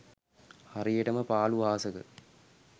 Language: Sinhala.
හරියටම පාළු අහසක